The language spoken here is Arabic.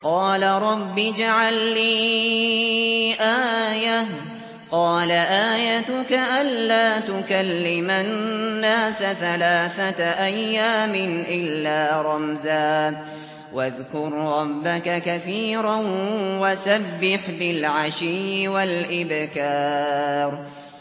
قَالَ رَبِّ اجْعَل لِّي آيَةً ۖ قَالَ آيَتُكَ أَلَّا تُكَلِّمَ النَّاسَ ثَلَاثَةَ أَيَّامٍ إِلَّا رَمْزًا ۗ وَاذْكُر رَّبَّكَ كَثِيرًا وَسَبِّحْ بِالْعَشِيِّ وَالْإِبْكَارِ